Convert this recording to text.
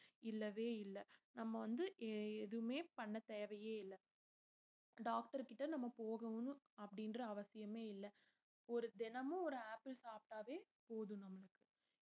இல்லவே இல்ல நம்ம வந்து எ~ எதுவுமே பண்ண தேவையே இல்ல doctor கிட்ட நம்ம போகணும் அப்படின்ற அவசியமே இல்லை ஒரு தினமும் ஒரு ஆப்பிள் சாப்பிட்டாவே போதும் நம்மளுக்கு